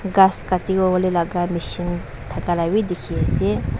ghas katiwo lagah machine thaka la bi dikhi ase.